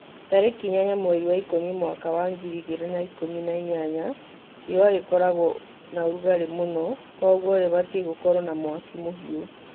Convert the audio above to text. Tarĩki inyanya mweri wa ikũmi mwaka wa ngiri igĩrĩ na ikũmi na inyanya, rĩua rĩkoragwo na ũrugarĩ mũno, Kogwo rĩbatie gũkorwo na mwaki mũhiu